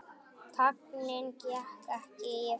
Tignin gekk ekki í arf.